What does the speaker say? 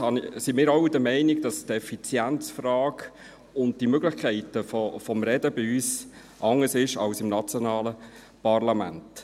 Ebenfalls sind wir alle der Meinung, die Effizienzfrage und die Möglichkeiten des Redens seien bei uns anders sind als im nationalen Parlament.